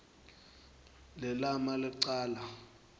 le lama licala